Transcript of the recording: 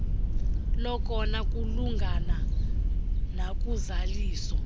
lokona kulungana nakuzaliso